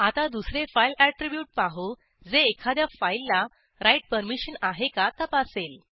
आता दुसरे file attribute पाहू जे एखाद्या फाईलला राइट परमिशन आहे का तपासेल